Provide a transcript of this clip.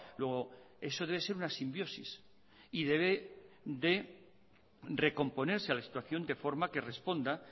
luego eso debe ser una simbiosis y debe de recomponerse a la situación de forma que responda